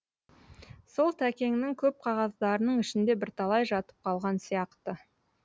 сол тәкеңнің көп қағаздарының ішінде бірталай жатып қалған сияқты